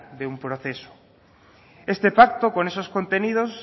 de un proceso este pacto con esos contenidos